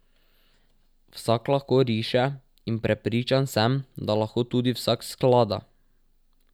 Vsak lahko riše in prepričan sem, da lahko tudi vsak sklada.